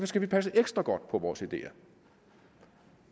skal vi passe ekstra godt på vores ideer